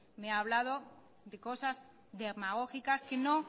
me ha hablado de cosas demagógicas